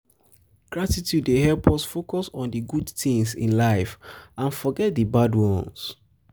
gratitude um dey help us focus on um di good tings um in life and forget di bad ones.